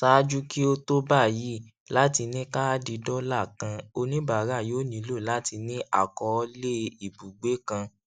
ṣáájú kí o tó báyìí láti ní káàdì dọlà kàn oníbàárà yóò nílò láti ní àkọọlé ibùgbé kan